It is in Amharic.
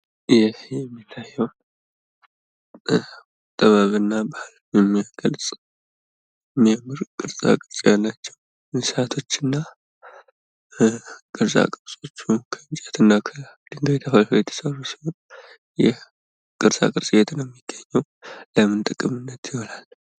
ይህ የሚታየው ጥበብ እና ባህልን የሚገልጽ የሚያምር ቅርፃ ቅርፅ ያላቸው እንስሳቶች እና ቅርፃ ቅርፆች ከእንጨት እና ከድንጋይ ተፈልፍለው የተሰሩ ሲሆን ይህ ቅርፃቅርፅ የት ነው የሚገኝ? ለምን ጥቅምነት ይውላል ?